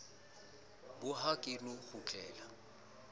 bo ha ke no kgutlela